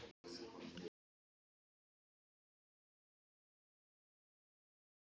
Þetta er stórkostlegt sagði ég undrandi.